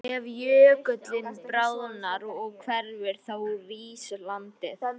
Ef jökullinn bráðnar og hverfur þá rís landið.